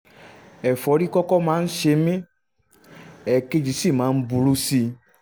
ẹ̀fọ́rí kọ́kọ́ máa ń ṣe mí èkejì sì máa ń burú sí i